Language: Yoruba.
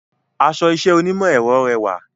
Aṣọ iṣẹ́ onímọ̀ ẹ̀rọ rẹwà